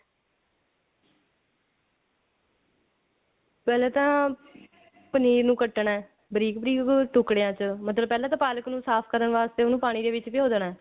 ਪਹਿਲੇ ਤਾਂ ਪਨੀਰ ਨੂੰ ਕੱਟਣਾ ਬਰੀਕ ਬਰੀਕ ਟੁਕੜਿਆ ਚ ਮਤਲਬ ਪਹਿਲਾਂ ਤਾਂ ਪਾਲਕ ਨੂੰ ਸਾਫ਼ ਕਰਨ ਵਾਸਤੇ ਉਹਨੂੰ ਪਾਣੀ ਦੇ ਵਿੱਚ ਭਿਓ ਦੇਣਾ